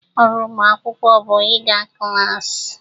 Ọrụ ụmụ akwụkwọ bụ ịga klas.